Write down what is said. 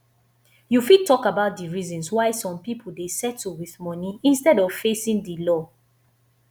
you fit talk about di reasons why some people dey settle with money instead of facing di law